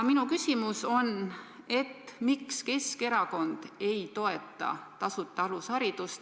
Minu küsimus on: miks Keskerakond ei toeta tasuta alusharidust?